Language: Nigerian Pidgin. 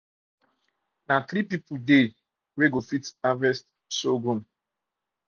na three people dey fit harvest surghum fit harvest surghum